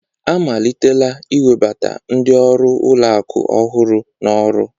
Amalitela iwebata ndị ọrụ ụlọ akụ ọhụrụ n'ọrụ